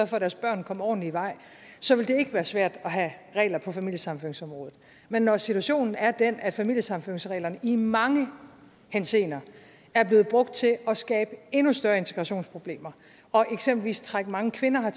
for at deres børn kom ordentlig i vej så ville det ikke være svært at have regler på familiesammenføringsområdet men når situationen er den at familiesammenføringsreglerne i mange henseender er blevet brugt til at skabe endnu større integrationsproblemer og eksempelvis trække mange kvinder